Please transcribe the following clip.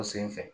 O sen fɛ